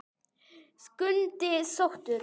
Skundi sóttur